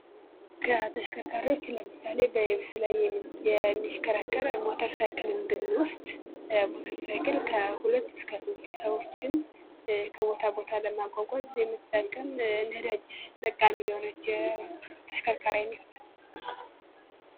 ከተሽከርካሪዎች ለምሳሌ በየብስ ላይ የሚሽከረከር ሞተር ሳይክለን ብንወስድ ሞተር ሳይክል ከሁለት እስከ ሦስት ሰዎችን ከቦታ ቦታ ለማጓጓዝ የምንጠቀም ነዳጅ ተጠቃሚ የሆነች የተሽከርካሪ አይነት ናት ::